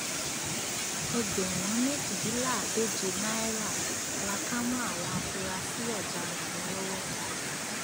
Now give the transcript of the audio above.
ẹgbẹrún méjìdínláàádóje náírà la kà mọ àwọn afurasí ọdaràn yẹn lọwọ